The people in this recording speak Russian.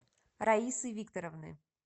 раисы викторовны